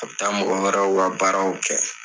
A bi taa mɔgɔ wɛrɛw ka baaraw kɛ.